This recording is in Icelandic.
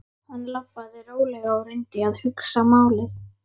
Hann labbaði rólega og reyndi að hugsa málið.